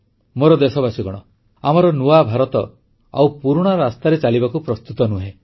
ମୋର ଦେଶବାସୀଗଣ ଆମର ନୂଆ ଭାରତ ଆଉ ପୁରୁଣା ରାସ୍ତାରେ ଚାଲିବାକୁ ପ୍ରସ୍ତୁତ ନୁହେଁ